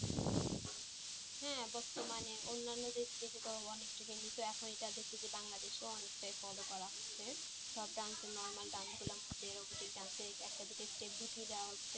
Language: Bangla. হ্যাঁ বর্তমানে অন্যান্য দেশ দেশে তো অনেকটা trendy তো এখন এটা দেখছি বাংলাদেশেও অনেকটা follow করা হচ্ছে, সব dance এর normal dance গুলো থেকে robotic dance এর একটা দিকে চেক ঢুকিয়ে দেওয়া হচ্ছে।